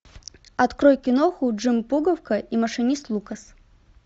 открой киноху джим пуговка и машинист лукас